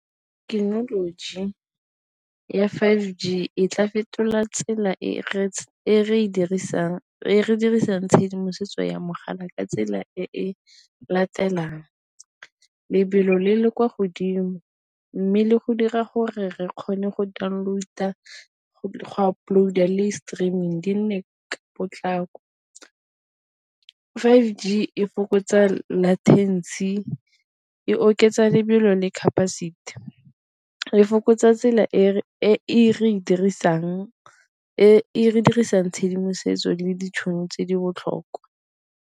Thekenoloji ya five G e tla fetola tsela e re dirisang tshedimosetso ya mogala ka tsela e latelang, lebelo le le kwa godimo mme le go dira gore re kgone go download-a, go upload-a le streaming di nne ka potlako. Five G e fokotsa e oketsa lebelo le capacity e fokotsa tsela e re dirisang tshedimosetso le ditšhono tse di botlhokwa.